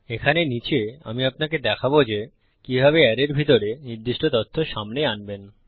এখানে নীচে আমি আপনাকে দেখাবো যে কিভাবে অ্যারের ভিতরে নির্দিষ্ট তথ্য সামনে আনবেন